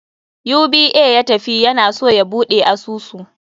UBA ya tafi, ya na so ya buɗe asusu.